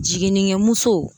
Jiginnikɛmuso